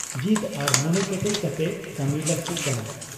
ᱡᱤᱫᱽ ᱟᱨ ᱢᱚᱱᱮ ᱠᱮᱴᱮᱡ ᱠᱟᱛᱮ ᱠᱟᱹᱢᱤ ᱞᱟᱹᱜᱛᱤᱜ ᱠᱟᱱᱟ ᱾